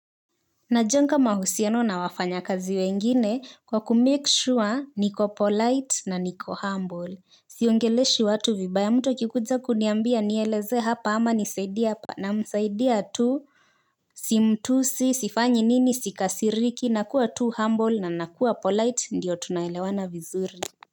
Najenga mahusiano na wafanyakazi wengine kwa kumake sure niko polite na niko humble. Siongeleshi watu vibaya mtu akikuja kuniambia nielezee hapa ama nisaidie hapa namsaidia tu. Simtusi sifanyi nini sikasiriki nakuwa tu humble na nakuwa polite ndiyo tunaelewana vizuri. Kwa hivyo.